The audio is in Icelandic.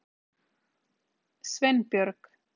Sveinbjörg